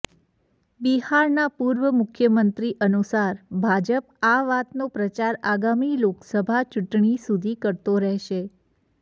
બિહારના પૂર્વ મુખ્યમંત્રી અનુસાર ભાજપ આ વાતનો પ્રચાર આગામી લોકસભા ચૂંટણી સુધી કરતો રહેશે